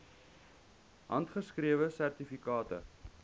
handgeskrewe sertifikate